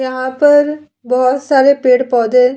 यहाँ पर बहुत सारे पेड़-पोधे --